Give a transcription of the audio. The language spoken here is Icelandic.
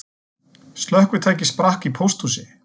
Slökkvitæki sprakk í pósthúsi